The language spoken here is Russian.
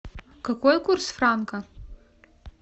какой курс франка